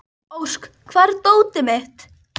Ósk, hvar er dótið mitt?